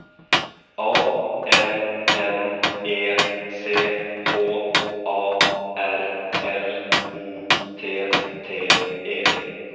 A N N E C H A R L O T T E